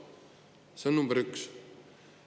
See on number üks.